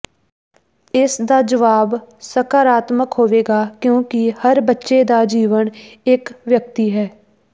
ਇਸ ਦਾ ਜਵਾਬ ਸਕਾਰਾਤਮਕ ਹੋਵੇਗਾ ਕਿਉਂਕਿ ਹਰ ਬੱਚੇ ਦਾ ਜੀਵਣ ਇੱਕ ਵਿਅਕਤੀ ਹੈ